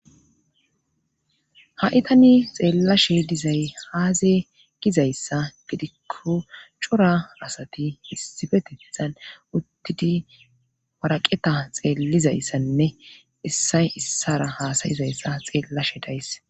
Haitani xeellashe dizay haaze gizayssa gidikko cora rasati issifetetizan uttidi waraqeta xeellizayssanne issay issara haasayizayssa xeellashe days.